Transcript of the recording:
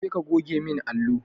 Je ka goge min allo!